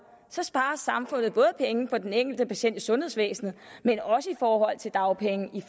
sparer samfundet både penge på den enkelte patient i sundhedsvæsenet og i dagpenge i